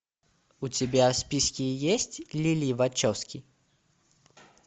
у тебя в списке есть лили вачовски